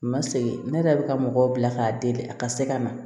U ma segin ne yɛrɛ bɛ ka mɔgɔw bila k'a deli a ka se ka na